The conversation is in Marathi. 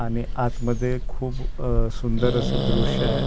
आणि आतमध्ये खूप आह सुंदर असे दृश्य आहे .